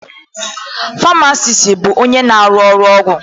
Famasis bụ onye na-arụ ọgwụ.